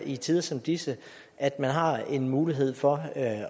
i tider som disse at man har en mulighed for